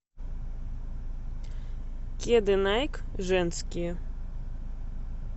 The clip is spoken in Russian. кеды найк женские